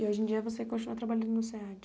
E hoje em dia você continua trabalhando no SEAD?